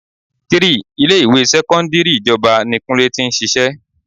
3. Ilé ìwé sẹ́kọ́ńdírì ìjọba ni kúnlé tí ń ṣíṣe.